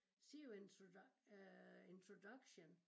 Sea you øh Introduction